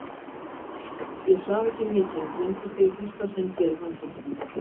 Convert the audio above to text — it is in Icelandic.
Ég svaf ekki mikið en dreymdi þig í fyrsta sinn hér í fangelsinu.